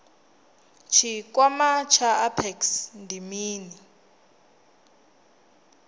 tshikwama tsha apex ndi mini